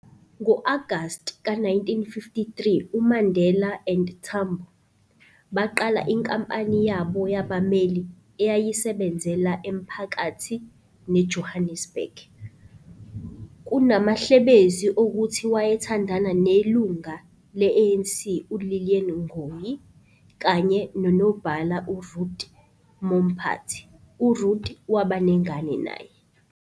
Ngo-Agast ka 1953, uMandela and Tambo, baqala inkampani yabo yabameli eyayisebenzela emaphakathi ne-Johannesburg. Kunamahlebezi okuthi wayethandana nelunga le-ANC u- Lillian Ngoyi kanye nonobhala uRuth Mompati, uRuth waba nengane naye.